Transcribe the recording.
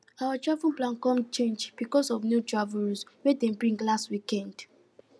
our travel plan come change because of new travel rules wey dem bring last weekend